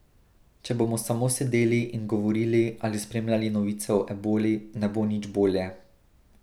Če bomo samo sedeli in govorili ali spremljali novice o eboli, ne bo nič bolje.